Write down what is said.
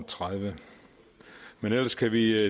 tredive men ellers kan vi